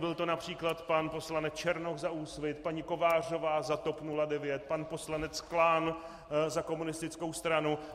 Byl to například pan poslanec Černoch za Úsvit, paní Kovářová za TOP 09, pan poslanec Klán za komunistickou stranu.